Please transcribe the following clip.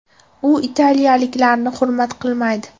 U italiyaliklarni hurmat qilmaydi”.